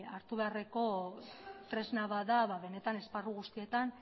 hartu beharreko tresna bat da ba benetan esparru guztietan